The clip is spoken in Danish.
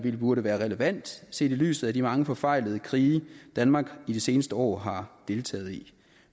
burde være relevant set i lyset af de mange forfejlede krige danmark i de seneste år har deltaget i